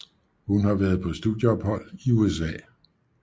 Hun har været på studieophold i USA